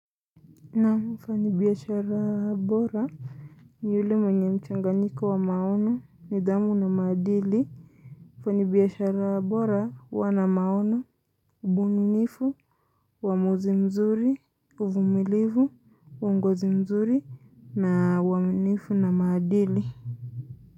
Nam mfanyi biashara bora, ni yule mwenye mchanganyiko wa maono, nidhamu na maadili. Mfanyi biashara bora, huiwa na maono, ubunifu, uamuzi mzuri, uvumilivu, uongozi mzuri, na waaminifu na madili.